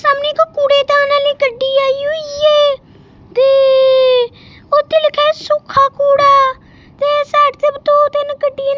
ਸਾਹਮਣੇ ਇੱਕ ਕੂੜੇਦਾਨ ਆਲੀ ਗੱਡੀ ਆਈ ਹੋਈ ਹੈ ਤੇ ਓਹਤੇ ਲਿੱਖਿਆ ਹੈ ਸੁੱਖਾ ਕੂੜਾ ਤੇ ਸਾਈਡ ਤੇ ਭੀ ਦੋ ਤਿੰਨ ਗੱਡੀਆਂ--